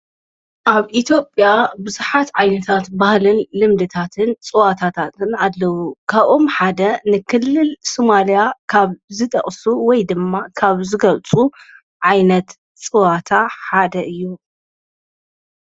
ኣብ ኢቲዬጴያ ብዙኃት ዓይንታት ባህልን ልምድታትን ጽዋታታትን ኣለዉ ካብኦም ሓደ ንክልል ሶማልያ ካብ ዝጠቕሱ ወይ ድማ ካብ ዝገልጹ ዓይነት ጸዋታ ሓደ እዩ።